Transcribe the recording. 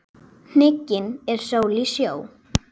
Hnigin er sól í sjó.